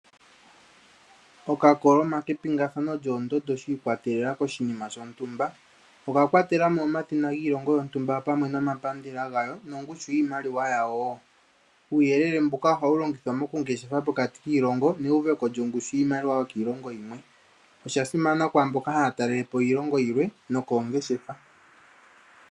Okakoloma kepingathano lyoondando shi ikwatelela koshinima shontumba. Oga kwatela mo omadhina giilongo yontumba opamwe nomapandela gayo nongushu yiimaliwa yawo wo. Uuyelele mbuka ohawu longithwa mokungeshefa pokati kiilongo neuveko lyongushu yiimaliwa yokiilongo yimwe. Osha simana kwaa mboka haya talele po iilongo yilwe nokoongeshefa.